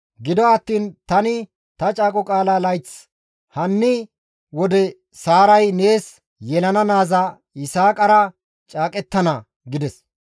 Gido attiin tani ta caaqo qaalaa layth hanni wode Saaray nees yelana naaza Yisaaqara caaqettana» gides.